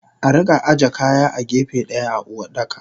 Arika aje kaya a gefe daya a Uwardaka.